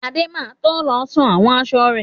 Adé má to lọ sun àwọn aṣọ rẹ̀.